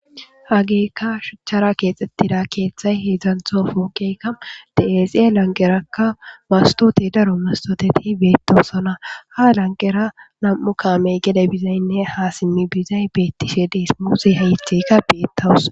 Haggeykka shuchchara keexettida keeththay heedzdzanththo pooqey de'es. Iya lanqerakka mastotey daro mastoteti beettosona. Ha lanqera nami'u kaamey gede bizaynne haa smmi bizay beettishe de'es. Muuze haytteykka beettawus.